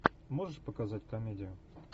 можешь показать комедию